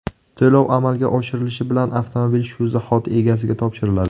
To‘lov amalga oshirilishi bilan avtomobil shu zahoti egasiga topshiriladi.